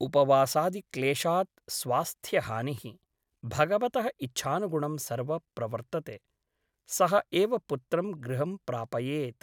उपवासादिक्लेशात् स्वास्थ्यहानिः । भगवतः इच्छानुगुणं सर्व प्रवर्तते । सः एव पुत्रं गृहं प्रापयेत् ।